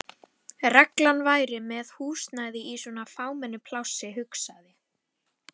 reglan væri með húsnæði í svona fámennu plássi, hugsaði